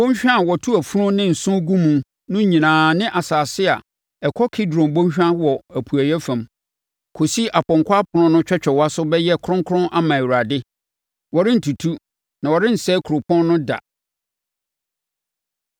Bɔnhwa a wɔto afunu ne nsõ gu mu no nyinaa ne asase a ɛkɔ Kidron bɔnhwa wɔ apueeɛ fam, kɔsi apɔnkɔ ɛpono no twɛtwɛwaso bɛyɛ kronkron ama Awurade. Wɔrentutu na wɔrensɛe kuropɔn no da.”